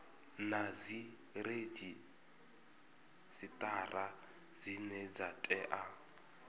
na dziredzhisitara dzine dza tea